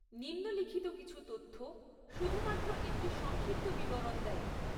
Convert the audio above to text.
নিম্নলিখিত কিছু তথ্য শুধুমাত্র একটি সংক্ষিপ্ত বিবরণ দেয়।